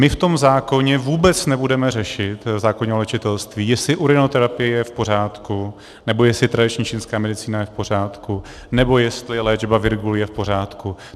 My v tom zákoně vůbec nebudeme řešit, v zákoně o léčitelství, jestli urinoterapie je v pořádku, nebo jestli tradiční čínská medicína je v pořádku, nebo jestli léčba virgulí je v pořádku.